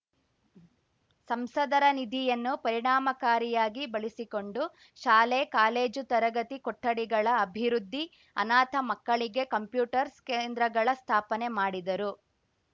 ಸಂಸದರ ನಿಧಿಯನ್ನು ಪರಿಣಾಮಕಾರಿಯಾಗಿ ಬಳಸಿಕೊಂಡು ಶಾಲೆ ಕಾಲೇಜು ತರಗತಿ ಕೊಠಡಿಗಳ ಅಭಿವೃದ್ಧಿ ಅನಾಥ ಮಕ್ಕಳಿಗೆ ಕಂಪ್ಯೂಟರ್ಸ್ ಕೇಂದ್ರಗಳ ಸ್ಥಾಪನೆ ಮಾಡಿದರು